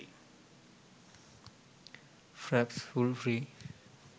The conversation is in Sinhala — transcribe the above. fraps full free